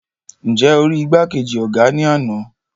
Nje o ri igbakeji ọgá ní ana?